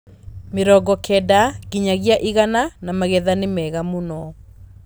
mĩrongo kenda nginyagia igana na magetha nĩ mega mũno.